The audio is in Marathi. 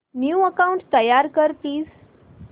न्यू अकाऊंट तयार कर प्लीज